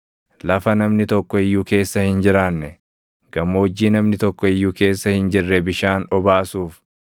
lafa namni tokko iyyuu keessa hin jiraanne, gammoojjii namni tokko iyyuu keessa hin jirre bishaan obaasuuf,